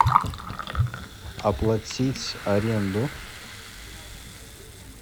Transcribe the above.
оплатить аренду